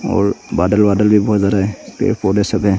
और बादल वादल भी बहुत ज्यादा है पेड़ पौधे सब है।